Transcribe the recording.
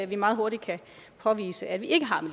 vi meget hurtigt kan påvise at vi ikke